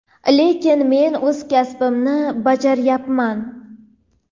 lekin men o‘z kasbimni bajaryapman.